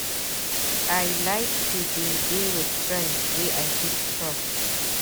I like to dey dey wit friends wey I fit trust.